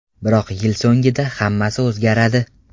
Biroq yil so‘ngida hammasi o‘zgaradi.